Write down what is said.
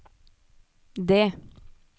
det